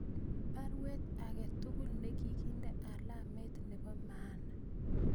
Baruet age tugul negiginde alamet nebo maana